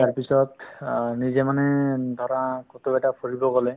তাৰপিছত অ নিজে মানে ধৰা ফুৰিব গ'লে